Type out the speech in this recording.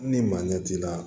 Ni maa ɲɛ t'i la